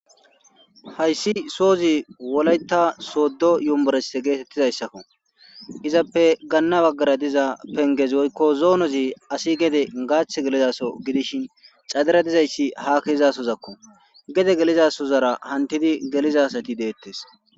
Hayssi soozi wolayta soodo yumborese geetettizayssakko izappe gaanna baggara diza pengezi woykko zoonozi asi gede gaach gelizaso gidishin cadira dizayssi ha keezasozakko gede gelizasozara hantidi gelizasati deettes